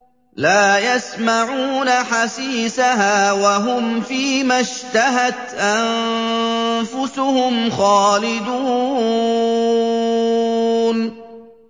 لَا يَسْمَعُونَ حَسِيسَهَا ۖ وَهُمْ فِي مَا اشْتَهَتْ أَنفُسُهُمْ خَالِدُونَ